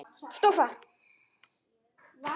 stóð þar.